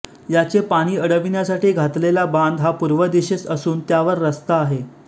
याचे पाणी अडविण्यासाठी घातलेला बांध हा पूर्व दिशेस असून त्यावर रस्ता आहे